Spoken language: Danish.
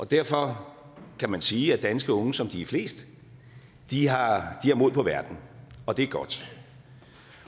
derfor kan man sige at danske unge som de er flest har mod på verden og det er godt